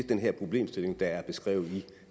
den her problemstilling der er beskrevet i